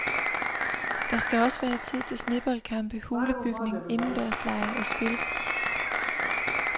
Der skal også være tid til sneboldkampe, hulebygning, indendørslege og spil.